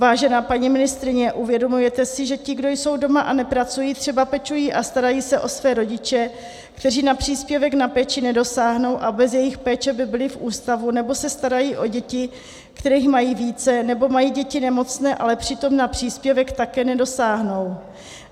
Vážená paní ministryně, uvědomujete si, že ti, kdo jsou doma a nepracují, třeba pečují a starají se o své rodiče, kteří na příspěvek na péči nedosáhnou a bez jejich péče by byli v ústavu, nebo se starají o děti, kterých mají více, nebo mají děti nemocné, ale přitom na příspěvek také nedosáhnou?